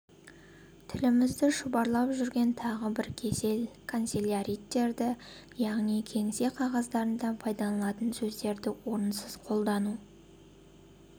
тілімізді шұбарлап жүрген тағы бір кесел канцеляриттерді яғни кеңсе қағаздарында пайдаланылатын сөздерді орынсыз қолдану